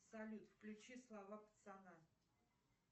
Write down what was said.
салют включи слова пацана